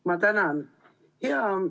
Ma tänan!